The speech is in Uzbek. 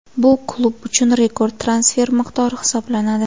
Bu klub uchun rekord transfer miqdori hisoblanadi.